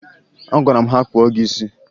Agwara m ha kpụọ gị isi!